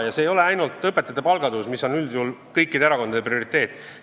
Ja vajalik ei ole ainult õpetajate palga tõus, mis on üldjuhul kõikide erakondade prioriteet.